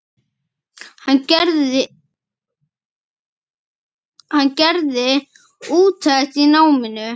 Hann gerði úttekt á náminu.